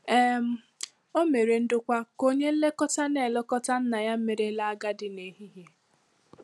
um O mere ndokwa ka onye nlekọta na-elekọta nna ya merela agadi n'ehihie.